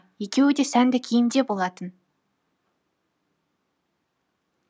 екеуі де сәнді киімде болатын